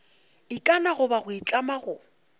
ikana goba go itlama go